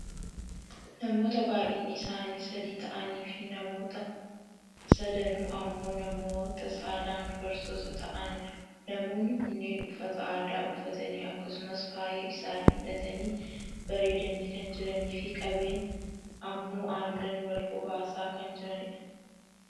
Namoota baayyinni isaanii sadi ta'aniifi namoonni sadanuu ammoo namoota saalan dubartoota ta'ani dha. Namoonni kunneen uffata aadaa uffatanii akkasumas faaya isaanii hidhatanii bareedanii kan jiraniifi qabeen ammoo aannan wal hobaasaa kan jiranidha.